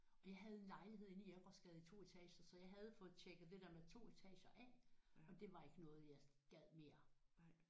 Og jeg havde en lejlighed inde i Jægergårdsgade i 2 etager så jeg havde fået tjekket det der med 2 etager af og det var ikke noget jeg gad mere